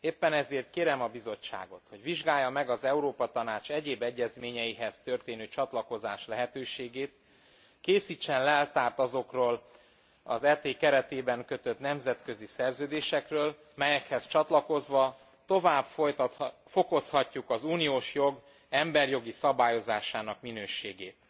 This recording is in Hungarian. Éppen ezért kérem a Bizottságot, hogy vizsgálja meg az Európa Tanács egyéb egyezményeihez történő csatlakozás lehetőségét, készítsen leltárt azokról az ET keretében kötött nemzetközi szerződésekről, melyekhez csatlakozva tovább fokozhatjuk az uniós jog emberi jogi szabályozásának minőségét.